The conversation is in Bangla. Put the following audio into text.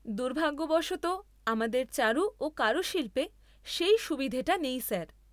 দুর্ভাগ্যবশত, আমাদের চারু ও কারুশিল্পে সেই সুবিধেটা নেই স্যার।